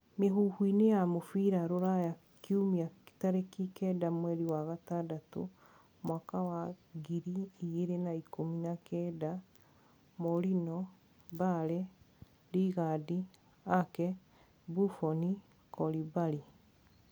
Mĩhuhu-ini ya mubira Ruraya Kiumia tarĩkĩ kenda mweri wa gatandatũ mwaka wa ngiri igĩrĩ na ikũmi na kenda: Mourinho, Bale, Lingard, Ake, Buffon, Koulibaly